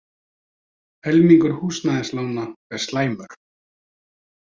Helmingur húsnæðislána er slæmur